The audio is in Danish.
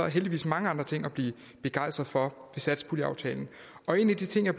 heldigvis mange andre ting at blive begejstret for i satspuljeaftalen en af de ting jeg